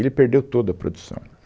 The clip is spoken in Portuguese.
Ele perdeu toda a produção.